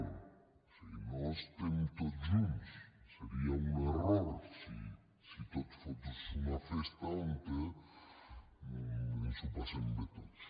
o sigui no estem tots junts seria un error si tot fos una festa on ens ho passem bé tots